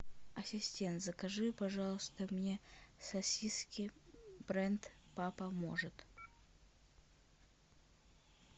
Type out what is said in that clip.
ассистент закажи пожалуйста мне сосиски бренд папа может